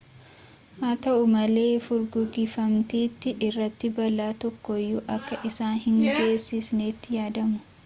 haata'u malee furguggifamtittii irratti balaa tokkoyyuu akka isaan hin geessisnetti yaadamu